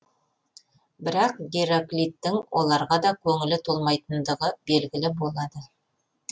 бірақ гераклиттің оларға да көңілі толмайтындығы белгілі болады